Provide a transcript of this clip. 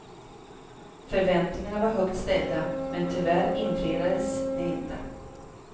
Förväntningarna var högt ställda, men tyvärr infriades de inte.